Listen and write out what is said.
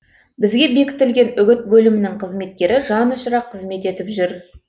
бізге бекітілген үгіт бөлімінің қызметкері жанұшыра қызмет етіп жүр